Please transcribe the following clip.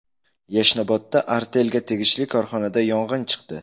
Yashnobodda Artel’ga tegishli korxonada yong‘in chiqdi.